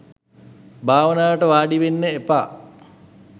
භාවනාවට වාඩිවෙන්න එපා.